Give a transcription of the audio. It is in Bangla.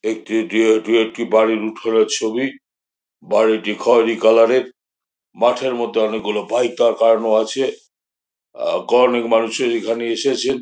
এটি একটি এটি একটি বাড়ির উঠুনের ছবি | বাড়িটা খয়রি কালার -এর মাঠের মধ্যে অনেকগুলো বাইক দাড় করানো আছে | আ গ্রামের মানুষ এখানে এসেছেন।